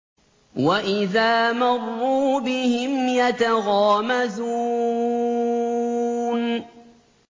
وَإِذَا مَرُّوا بِهِمْ يَتَغَامَزُونَ